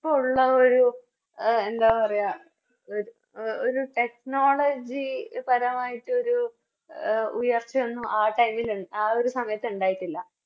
പ്പോള്ളോരു എന്താ പറയാ ഒരു Technology പരമായിട്ടൊരു ഉയർച്ച ഒന്നും ആ Time ൽ ആ ഒരു സമയത്തുണ്ടായിട്ടില്ല